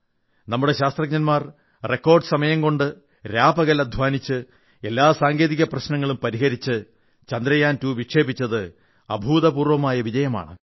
നമ്മുടെ ശാസ്ത്രജ്ഞർ റിക്കാർഡ് സമയം കൊണ്ട് രാപ്പകൽ അധ്വാനിച്ച് എല്ലാ സാങ്കേതിക പ്രശ്നങ്ങളും പരിഹരിച്ച് ചന്ദ്രയാൻ 2 വിക്ഷേപിച്ചത് അഭൂതപൂർവ്വമായ വിജയമാണ്